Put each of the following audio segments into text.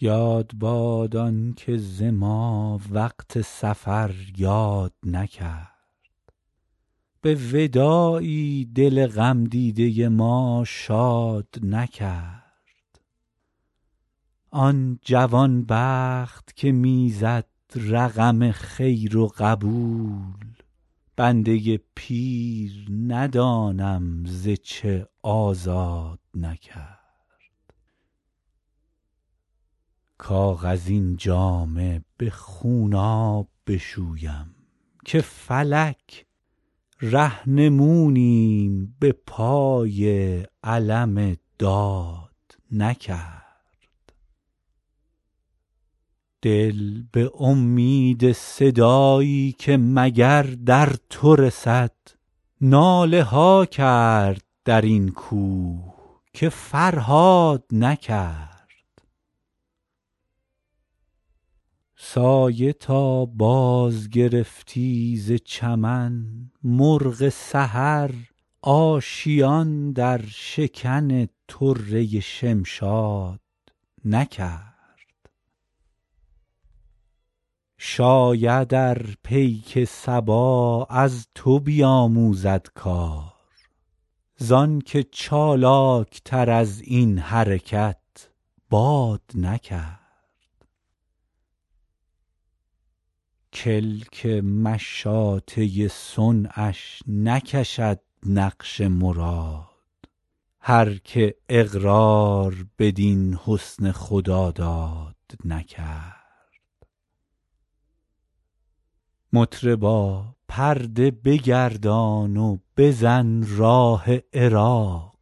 یاد باد آن که ز ما وقت سفر یاد نکرد به وداعی دل غم دیده ما شاد نکرد آن جوان بخت که می زد رقم خیر و قبول بنده پیر ندانم ز چه آزاد نکرد کاغذین جامه به خونآب بشویم که فلک رهنمونیم به پای علم داد نکرد دل به امید صدایی که مگر در تو رسد ناله ها کرد در این کوه که فرهاد نکرد سایه تا بازگرفتی ز چمن مرغ سحر آشیان در شکن طره شمشاد نکرد شاید ار پیک صبا از تو بیاموزد کار زآن که چالاک تر از این حرکت باد نکرد کلک مشاطه صنعش نکشد نقش مراد هر که اقرار بدین حسن خداداد نکرد مطربا پرده بگردان و بزن راه عراق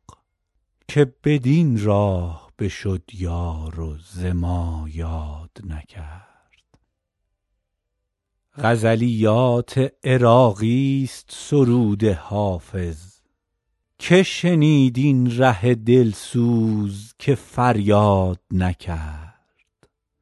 که بدین راه بشد یار و ز ما یاد نکرد غزلیات عراقی ست سرود حافظ که شنید این ره دل سوز که فریاد نکرد